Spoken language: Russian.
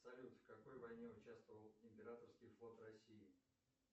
салют в какой войне участвовал императорский флот россии